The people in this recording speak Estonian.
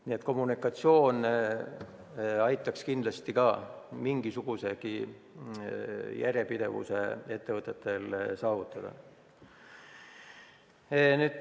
Nii et ka kommunikatsioon aitaks kindlasti mingisugusegi järjepidevuse ettevõtetel saavutada.